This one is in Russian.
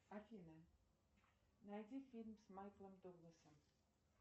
афина найди фильм с майклом дугласом